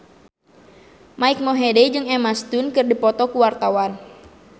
Mike Mohede jeung Emma Stone keur dipoto ku wartawan